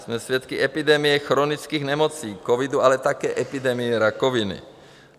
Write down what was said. Jsme svědky epidemie chronických nemocí, covidu, ale také epidemie rakoviny.